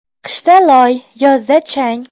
Qishda loy, yozda chang.